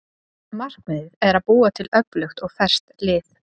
Markmiðið er að búa til öflugt og ferskt lið.